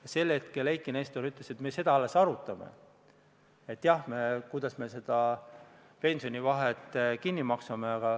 Ja tookord Eiki Nestor ütles, et me seda alles arutame, kuidas me selle pensionivahe kinni maksame.